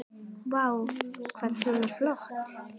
Vá, hvað hún er flott!